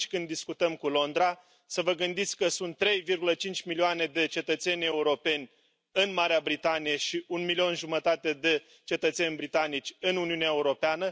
atunci când discutăm cu Londra, să vă gândiți că sunt 3,5 milioane de cetățeni europeni în Marea Britanie și 1,5 milioane de cetățeni britanici în Uniunea Europeană.